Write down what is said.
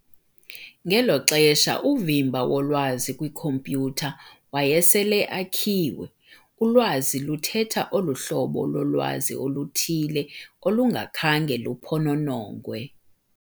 ngelo xesha, uvimba wolwazi kwikhompyutha waye sele akhiwe, ulwazi luthetha olu hlobo lolwazi oluthile olungakhange luphononongwe.